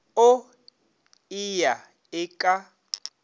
o e ya e ka